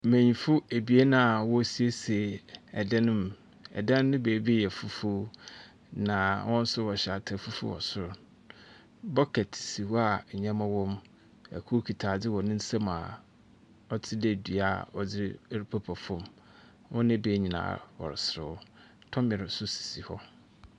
Mbenyimfo abien a wɔsiesie dan mu. Ɛdan no baabi yɛ fufuw. Na wɔn nso wɔhyɛ atar fufuw wɔ sor. Bucket si hɔ a nnyɛma wom. Kor kita adze wɔ ne nsam a ɔtse dɛ dua a wɔdze pepa fam. Ɔreda nyinaa, ɔreserew. Tɔmir nso si hɔ.